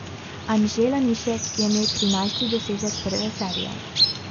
Anže Lanišek je imel trinajsti dosežek prve serije.